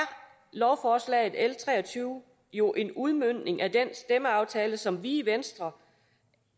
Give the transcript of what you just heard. lovforslag nummer l tre og tyve jo en udmøntning af den stemmeaftale som vi i venstre